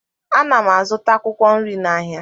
Ana m azụta akwụkwọ nri n'ahịa